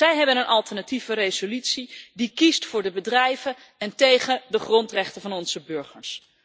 Zij hebben een alternatieve resolutie die kiest voor de bedrijven en tegen de grondrechten van onze burgers.